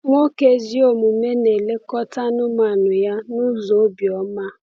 Nwoke ezi omume na-elekọta anụmanụ ya n’ụzọ obiọma.